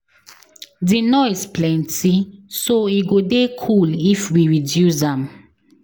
The noise plenty so e go dey cool if we reduce am.